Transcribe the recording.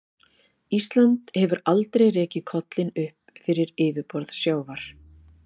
Ísland hefur aldrei rekið kollinn upp fyrir yfirborð sjávar.